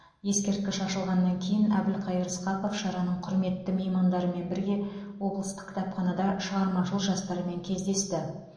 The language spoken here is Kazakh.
ескерткіш ашылғаннан кейін әбілқайыр сқақов шараның құрметті меймандарымен бірге облыстық кітапханада шығармашыл жастармен кездесті